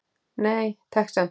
Nei, takk samt!